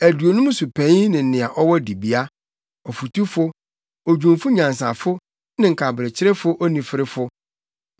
aduonum so panyin ne nea ɔwɔ dibea, ɔfotufo, odwumfo nyansafo ne nkaberekyerefo onifirifo.